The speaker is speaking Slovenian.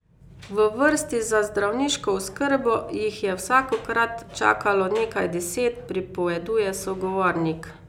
V vrsti za zdravniško oskrbo jih je vsakokrat čakalo nekaj deset, pripoveduje sogovornik.